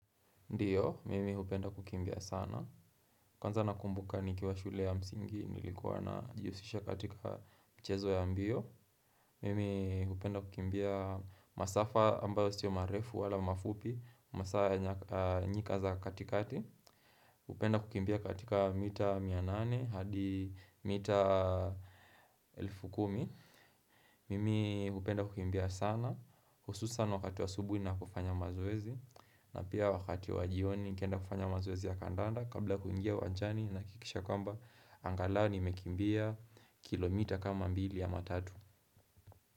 Ndiyo, mimi hupenda kukimbia sana. Kwanza nakumbuka nikiwa shule ya msingi, nilikuwa najihusisha katika mchezo ya mbio. Mimi hupenda kukimbia masafa ambayo siyo marefu wala mafupi, masafa nyika za katikati. Hupenda kukimbia katika mita mia nane, hadi mita elfu kumi. Mimi hupenda kukimbia sana. Hususan wakati wa asubuhi ninapo fanya mazoezi na pia wakati wa jioni nikienda kufanya mazoezi ya kandanda Kabla kuingia uwanjani nahakikisha kwamba angalau nimekimbia kilomita kama mbili au matatu.